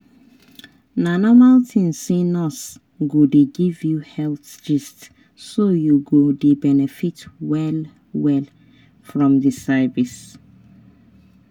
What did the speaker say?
na normal thing say nurse go dey give you health gist so you go dey benefit well-well from di service.